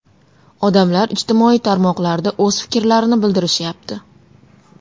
Odamlar ijtimoiy tarmoqlarda o‘z fikrlarini bildirishyapti.